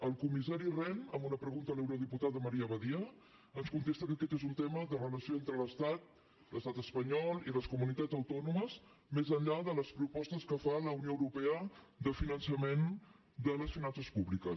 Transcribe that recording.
el comissari rehn en una pregunta a l’eurodiputada maria badia ens contesta que aquest és un tema de relació entre l’estat l’estat espanyol i les comunitats autònomes més enllà de les propostes que fa la unió europea de finançament de les finances públiques